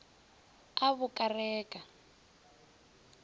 a bo ka re ka